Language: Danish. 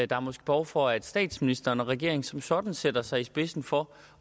der er måske behov for at statsministeren og regeringen som sådan sætter sig i spidsen for